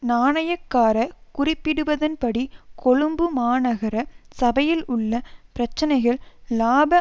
நாணயக்கார குறிப்பிடுவதன்படி கொழும்பு மாநகர சபையில் உள்ள பிரச்சினைகள் இலாப